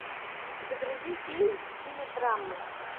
загрузи фильм в стиле драмы